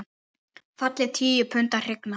Falleg tíu punda hrygna.